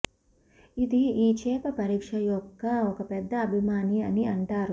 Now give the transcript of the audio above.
ఇది ఈ చేప పరీక్ష యొక్క ఒక పెద్ద అభిమాని అని అంటారు